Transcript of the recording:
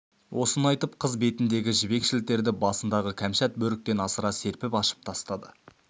осыны айтып қыз бетіндегі жібек шілтерді басындағы кәмшат бөріктен асыра серпіп ашып тастады